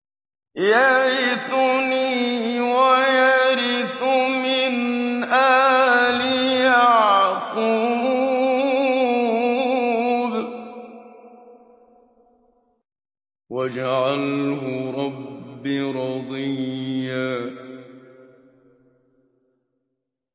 يَرِثُنِي وَيَرِثُ مِنْ آلِ يَعْقُوبَ ۖ وَاجْعَلْهُ رَبِّ رَضِيًّا